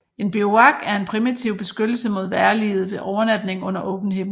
En bivuak er en primitiv beskyttelse mod vejrliget ved overnatning under åben himmel